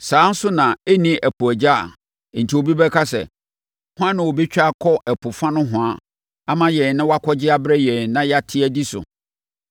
Saa ara nso na ɛnni ɛpo agya a enti mobɛka sɛ, “Hwan na ɔbɛtwa akɔ ɛpo fa nohoa ama yɛn na wakɔgye abrɛ yɛn, na yɛate adi so?”